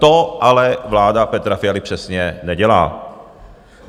To ale vláda Petra Fialy přesně nedělá.